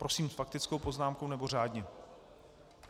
Prosím, s faktickou poznámkou, nebo řádně?